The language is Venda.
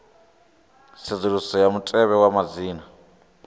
tsedzuluso ya mutevhe wa madzina